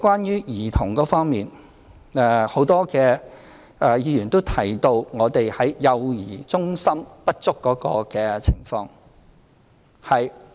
在兒童服務方面，很多議員提到幼兒中心不足的情況。